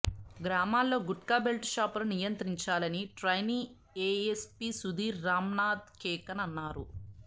గ్రామాల్లో గుట్కా బెల్డ్ షాపులను నియంత్రించాలని ట్రైనీ ఏఎస్పీ సుథీర్ రమ్నాద్ కేకన్ అన్నా రు